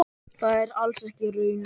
Það er alls ekki raunin.